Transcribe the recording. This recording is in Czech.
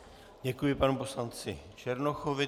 Děkuji panu poslanci Černochovi.